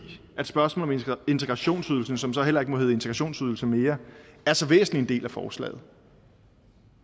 spørgsmålet om integrationsydelsen som så heller ikke må hedde integrationsydelse mere er så væsentlig en del af forslaget